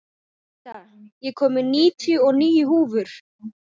Jenetta, ég kom með níutíu og níu húfur!